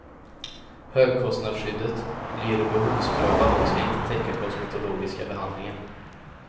Högkostnadsskyddet blir behovsprövat och ska inte täcka kosmetologiska behandlingar.